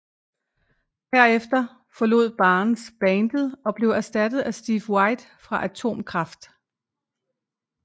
Herefter forlod Barnes bandet og blev erstattet af Steve White fra Atomkraft